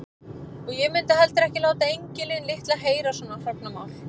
Og ég mundi heldur ekki láta engilinn litla heyra svona hrognamál.